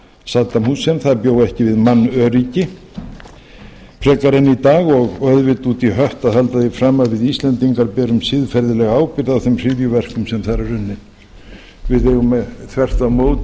saddam husseins bjó ekki við mannöryggi frekar en í dag og auðvitað út í hött að halda því fram að við íslendingar berum siðferðilega ábyrgð á þeim hryðjuverkum sem þar eru unnin við eigum þvert á móti